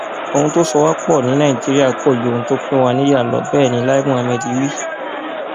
ohun tó so wá pọ ní nàìjíríà pọ ju ohun tó pín wa níyà lọ bẹẹ ni lai muhammed wí